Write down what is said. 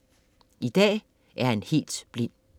I dag er han helt blind.